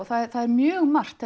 það er mjög margt